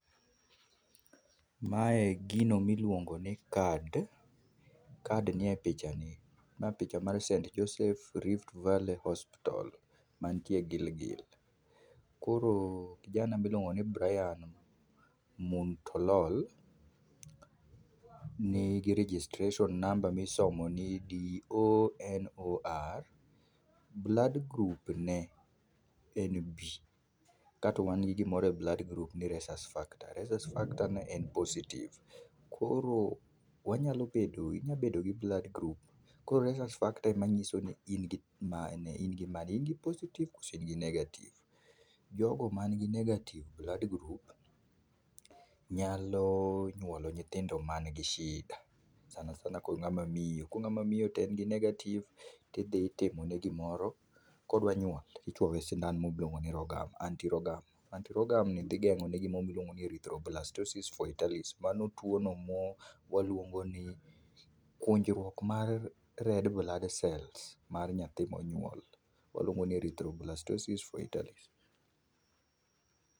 Ma e gino miluongo ni card. Card ni e pichani. Ma picha mar [Saint Joseph Rift valley hospital ma nitie Gilgil koro kijana miluongo ni Brian Montolol ni gi registartion number mi isomo ni donor. Blood group ne en B ka to wan gi gimoro e blood group ni Rhesus factor rhesus factor ne en positive koro wanyalo bedo, inyalo bedo gi blood group koro rhesus factor ema ng'iso ni in gi mane in gi positive koso negative. jo go man gi negative blood group nyalo nyuolo nyithindo man gi shida sanasana. Ko ng'awa miyo k ong'awa ma miyo to en gi negative to idhi itimo ne gi moro kodwa nyuol to ichuo ne sindan mi iluongo ni anti rogam. anti rogam no di gengo ne gi ma iluongo ni erythroblastosis fetalis mano tuono mo waluongo ni kunjruok mar red bloodcells mar nyathi monyuol waluongo ni erythroblastosis fetalis.